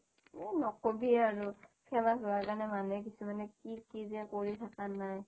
এ ন'কবি আৰু famous হোৱা কাৰনে মানুহে কিছুমানে কি কি যে কৰি থাকা নাই